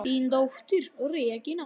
Þín dóttir, Regína.